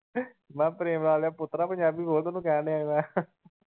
ਮੈਂ ਕਿਹਾ ਪ੍ਰੇਮ ਲਾਲ ਦਿਆ ਪੁਤਰਾ ਪੰਜਾਬੀ ਬੋਲ ਤੈਨੂੰ ਕਹਿਣ ਦਿਆ ਈ ਮੈਂ ।